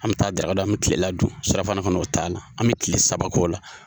An be taa daraka dun an be kilela dun . Surafana kɔni o t'a la, an be kile saba k'o la.